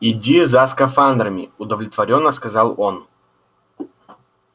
иди за скафандрами удовлетворённо сказал он